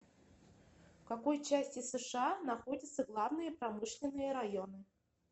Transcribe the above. в какой части сша находятся главные промышленные районы